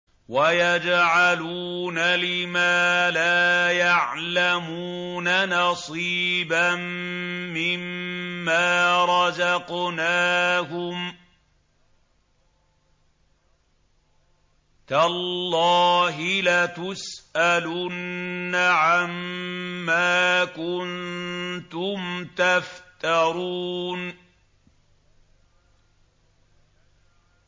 وَيَجْعَلُونَ لِمَا لَا يَعْلَمُونَ نَصِيبًا مِّمَّا رَزَقْنَاهُمْ ۗ تَاللَّهِ لَتُسْأَلُنَّ عَمَّا كُنتُمْ تَفْتَرُونَ